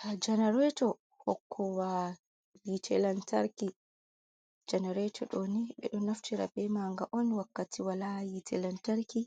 Ha janarato hokowa hite lantarki janarato ɗoni ɓeɗo naftira be maga on wakkati wala yite lantarki